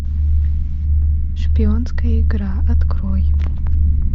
шпионская игра открой